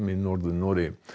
í Norður Noregi